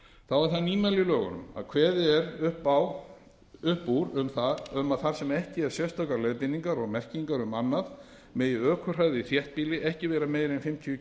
þá er það nýmæli í lögunum að kveðið er upp úr um að þar sem ekki eru sérstakar leiðbeiningar og merkingar um annað megi ökuhraði í þéttbýli ekki vera meiri